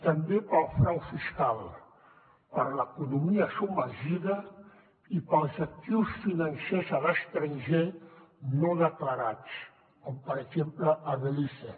també pel frau fiscal per l’economia submergida i pels actius financers a l’estranger no declarats com per exemple a belize